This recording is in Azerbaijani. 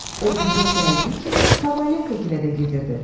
O bizə gəldiyi kimi Kovalenkagilə də gedirdi.